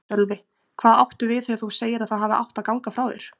Sölvi: Hvað áttu við þegar þú segir að það hafi átt að ganga frá þér?